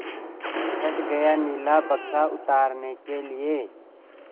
चढ़ गया नीला बक्सा उतारने के लिए